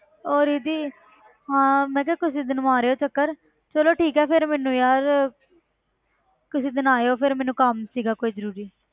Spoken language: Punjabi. ਉਹ ਰਿੱਧੀ ਹਾਂ ਮੈਂ ਕਿਹਾ ਕਿਸੇ ਦਿਨ ਮਾਰਿਓ ਚੱਕਰ ਚਲੋ ਠੀਕ ਹੈ ਫਿਰ ਮੈਨੂੰ ਯਾਰ ਕਿਸੇ ਦਿਨ ਆਇਓ ਫਿਰ ਮੈਨੂੰ ਕੰਮ ਸੀਗਾ ਕੋਈ ਜ਼ਰੂਰੀ।